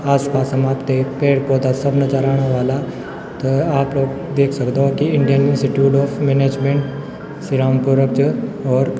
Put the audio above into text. आस-पास मा तेक पेड़-पौधा सब अजर आणा वाला त आप लोग देख सकदा की Indian institute of management Sirmaur च और --